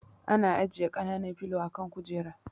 Ana ajiye kanan filo a kan kujera